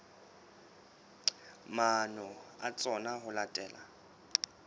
maano a tsona ho latela